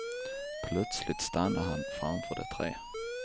Plötsligt stannade han framför de tre.